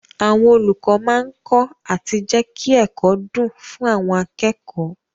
Àwọn olùkọ́ máa kọ́ àti jẹ́kí ẹ̀kọ́ dùn fún àwọn akẹ́kọ̀ọ́.